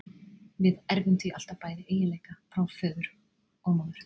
Við erfum því alltaf bæði eiginleika frá föður og móður.